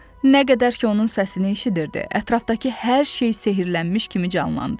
Nə qədər ki, onun səsini eşidirdi, ətrafdakı hər şey sehrlənmiş kimi canlandı.